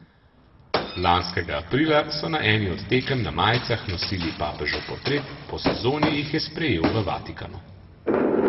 Lanskega aprila so na eni od tekem na majicah nosili papežev portret, po sezoni jih je sprejel v Vatikanu.